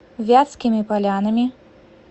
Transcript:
вятскими полянами